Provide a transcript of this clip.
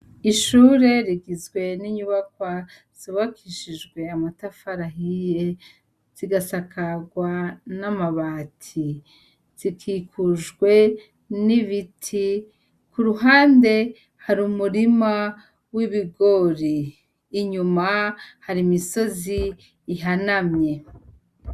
Ishure rigizwe n’inyubakwa zubakishijwe amatafar’ahiye , zigasakarwa , n’amabati. Zikikujwe n’ibiti , kuruhande har’umurima w’ibigori. Inyuma har’imisozi ihanamye.